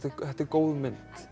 þetta er góð mynd